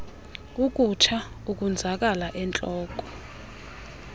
ukutsha ukonzakala entloko